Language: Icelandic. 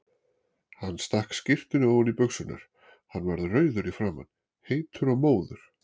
Hann stakk skyrtunni ofan í buxurnar, hann var rauður í framan, heitur og móður.